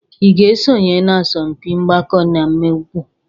Ị ga-esonye na asọmpi mgbakọ na mwepụ?